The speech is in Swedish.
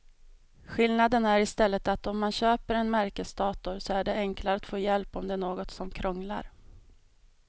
Skillnaden är i stället att om man köper en märkesdator så är det enklare att få hjälp om det är något som krånglar.